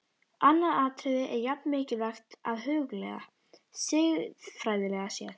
Annað atriði er jafn mikilvægt að hugleiða, siðfræðilega séð.